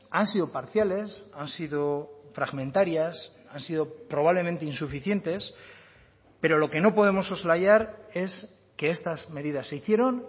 han sido parciales han sido fragmentarias han sido probablemente insuficientes pero lo que no podemos soslayar es que estas medidas se hicieron